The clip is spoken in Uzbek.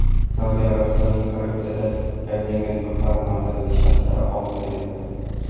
Saudiya Arabistonining korrupsiyada ayblangan yuqori martabali shaxslari ozod etildi.